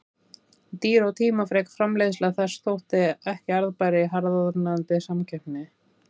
Dýr og tímafrek framleiðsla þess þótti ekki arðbær í harðnandi samkeppni.